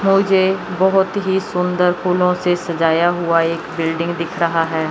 मुझे बहोत ही सुंदर फूलों से सजाया हुआ एक बिल्डिंग दिख रहा हैं।